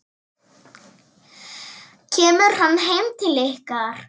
Kemur hann heim til ykkar?